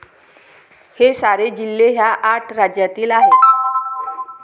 हे सारे जिल्हे ह्या आठ राज्यातील आहेत.